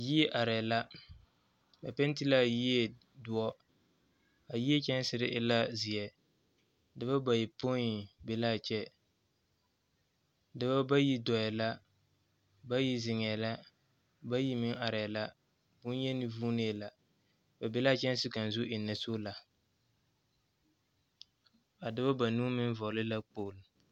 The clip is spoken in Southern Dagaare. Yie arԑԑ la. Ba penti laa yie dõͻ. A yie kyԑnsere e la zeԑ. Dͻbͻ bayopoi be la a kyԑ. Dͻbͻ bayi dͻͻŋ la, bayi meŋ zeŋԑԑ la, boŋyeni vuuee la. Ba be la a kyԑnse kaŋa a ennԑ soola. A dͻbͻ banuu meŋ vͻgele la kpogilo.